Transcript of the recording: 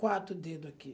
Quatro dedo aqui.